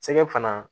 Sɛgɛ fana